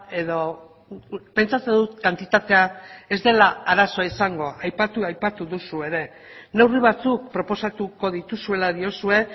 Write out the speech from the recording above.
edo pentsatzen dut kantitatea ez dela arazoa izango aipatu aipatu duzu ere neurri batzuk proposatuko dituzuela diozue